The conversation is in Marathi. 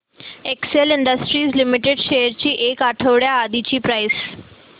एक्सेल इंडस्ट्रीज लिमिटेड शेअर्स ची एक आठवड्या आधीची प्राइस